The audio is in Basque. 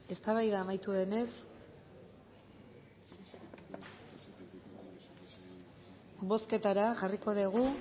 eztabaida amaitu denez bozketara jarriko dugu